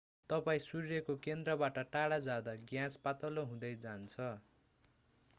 तपाईं सूर्यको केन्द्रबाट टाढा जाँदा ग्यास पातलो हुँदै जान्छ